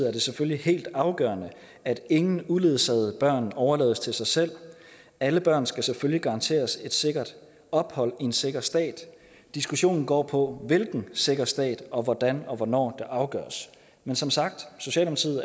er det selvfølgelig helt afgørende at ingen uledsagede børn overlades til sig selv alle børn skal selvfølgelig garanteres et sikkert ophold i en sikker stat diskussionen går på hvilken sikker stat og hvordan og hvornår det afgøres men som sagt